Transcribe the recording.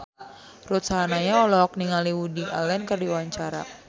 Ruth Sahanaya olohok ningali Woody Allen keur diwawancara